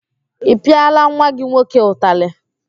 Ị pịala nwa gị nwoke utalị?